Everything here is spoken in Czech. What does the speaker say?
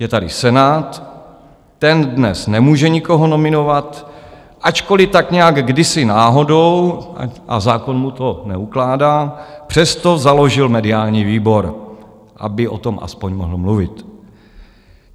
Je tady Senát, ten dnes nemůže nikoho nominovat, ačkoliv tak nějak kdysi náhodou, a zákon mu to neukládá, přesto založil mediální výbor, aby o tom aspoň mohl mluvit.